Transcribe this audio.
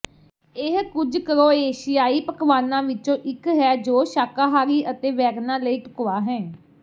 ਇਹ ਕੁੱਝ ਕਰੋਏਸ਼ਿਆਈ ਪਕਵਾਨਾਂ ਵਿੱਚੋਂ ਇੱਕ ਹੈ ਜੋ ਸ਼ਾਕਾਹਾਰੀ ਅਤੇ ਵੈਗਨਾਂ ਲਈ ਢੁਕਵਾਂ ਹੈ